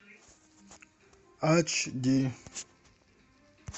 ач ди